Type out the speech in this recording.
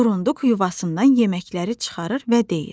Burunduk yuvasından yeməkləri çıxarır və deyir: